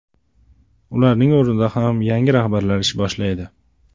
Ularning o‘rnida ham yangi rahbarlar ish boshlaydi.